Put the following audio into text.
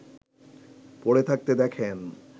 পড়ে থাকতে দেখেন